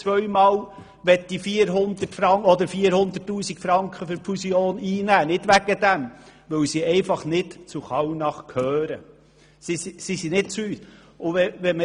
Das geschah trotz der etwa zweimal 400 000 Franken, die Kallnach im Falle einer Fusion einnehmen könnte.